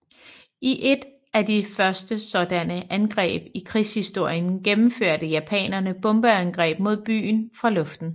I et af de første sådanne angreb i krigshistorien gennemførte japanerne bombeangreb mod byen fra luften